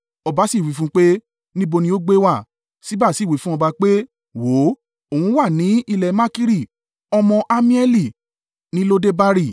Ọba sì wí fún un pé, “Níbo ni ó gbé wà?” Ṣiba sì wí fún ọba pé, “Wò ó, òun wà ní ilé Makiri, ọmọ Ammieli, ní Lo-Debari.”